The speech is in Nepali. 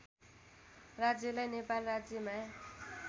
राज्यलाई नेपाल राज्यमा